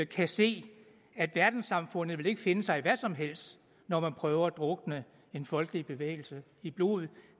kan se at verdenssamfundet ikke vil finde sig i hvad som helst når man prøver at drukne en folkelig bevægelse i blod